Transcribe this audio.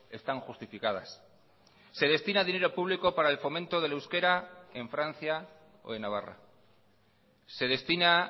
están justificadas se destina dinero público para el fomento del euskera en francia o en navarra se destina